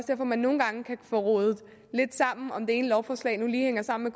at man nogle gange kan få rodet lidt sammen om det ene lovforslag nu lige hænger sammen